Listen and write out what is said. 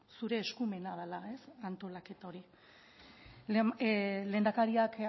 zure eskumena dela antolaketa hori lehendakariak